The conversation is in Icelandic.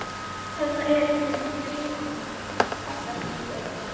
Þarna er hún grípið hana, kallar þykk rödd.